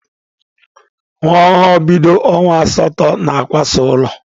Nwa ọhụrụ bido ọnwa asatọ na-akwasa ụlọ.